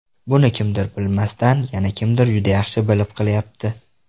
Buni kimdir bilmasdan, yana kimdir juda yaxshi bilib qilyapti.